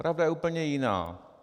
Pravda je úplně jiná.